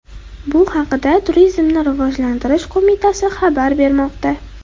Bu haqda Turizmni rivojlantirish qo‘mitasi xabar bermoqda .